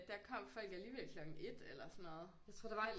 Der kom folk alligevel klokken 1 eller sådan noget jeg tror der var et